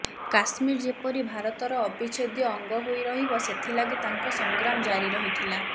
କାଶ୍ମୀର ଯେପରି ଭାରତର ଅବିଛେଦ୍ୟ ଅଂଗ ହୋଇ ରହିବ ସେଥିଲାଗି ତାଙ୍କ ସଂଗ୍ରାମ ଜାରି ରହିଥିଲା